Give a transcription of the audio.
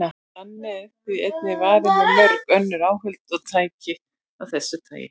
Þannig er því einnig varið með mörg önnur áhöld og tæki af þessu tagi.